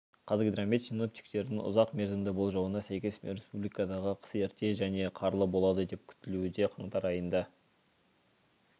қазгидромет синоптиктерінің ұзақ мерзімді болжауына сәйкес республикадағы қыс ерте және қарлы болады деп күтілуде қаңтар айында